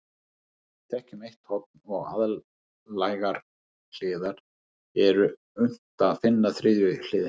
Ef við þekkjum eitt horn og aðlægar hliðar er unnt að finna þriðju hliðina.